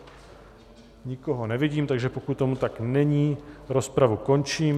Nikoho nevidím, takže pokud tomu tak není, rozpravu končím.